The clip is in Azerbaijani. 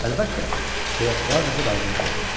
Əlbəttə deyə kral qızı razılıq verdi.